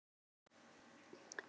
Lágu óvígir eftir.